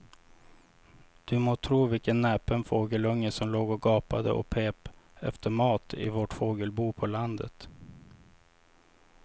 Du må tro vilken näpen fågelunge som låg och gapade och pep efter mat i vårt fågelbo på landet.